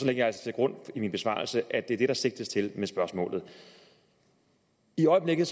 jeg altså til grund i min besvarelse at det er det der sigtes til med spørgsmålet i øjeblikket